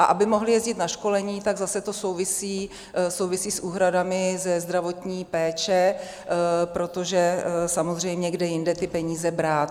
A aby mohly jezdit na školení, tak zase to souvisí s úhradami ze zdravotní péče, protože samozřejmě kde jinde ty peníze brát?